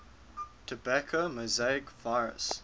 tobacco mosaic virus